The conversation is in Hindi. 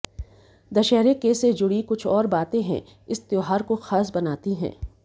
दशहरे के से जुड़ी कुछ और बातें हैं इस त्यौहार को खास बनाती हैं